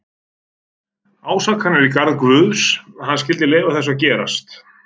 Ásakanir í garð Guðs, að hann skyldi leyfa þessu að gerast.